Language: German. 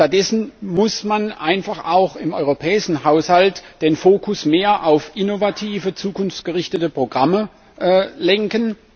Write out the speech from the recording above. Stattdessen muss man einfach auch im europäischen Haushalt den Fokus mehr auf innovative zukunftsgerichtete Programme lenken.